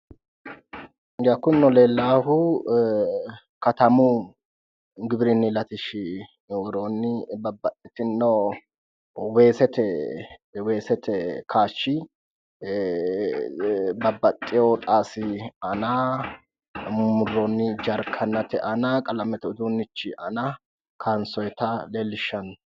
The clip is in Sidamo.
Kunino leellahu katamu giwirinni latishshi worooni babbaxitino weesete kayishi babbaxeyo xaasi aanna murumuroni jarikenate aana qalamete uduunichi aana kayinsonitta leellishano